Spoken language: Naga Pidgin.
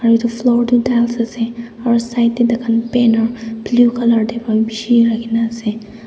etu floor tu tiles ase aru side teh tai khan banner blue colour table bishi rakhi na ase.